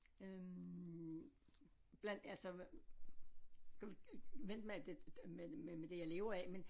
Øh blandt altså hvad skulle vi vente med det med med det jeg lever af men